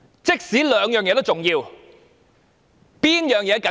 即使兩者同樣重要，何者較為緊急？